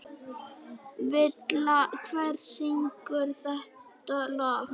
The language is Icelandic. Villa, hver syngur þetta lag?